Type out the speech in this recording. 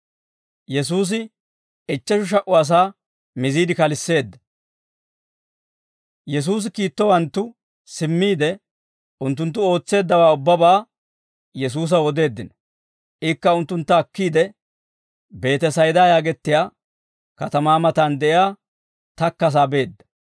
Yesuusi kiittowanttu simmiide, unttunttu ootseeddawaa ubbabaa Yesuusaw odeeddino. Ikka unttuntta akkiide, Beetesayda yaagettiyaa katamaa matan de'iyaa takkasaa beedda.